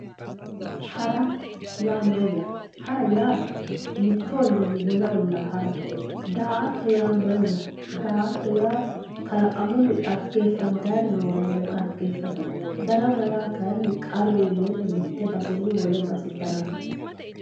Hara yaa mayyate, hara yaa mitu ollinni wole olla harate, daa"atto yaa mayyate, daa"atto yaa kalaqamunni dhaggefattaniri noowa marre dhaggefatate, darama yaa kayinni qarru iillenna mite baseni wole base daramate.